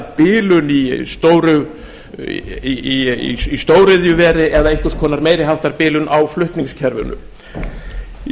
bilun í stóriðjuveri eða einhvers konar meiri háttar bilun á flutningskerfinu í